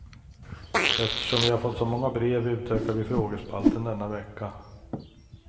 Eftersom vi har fått så många brev utökar vi frågespalten denna vecka.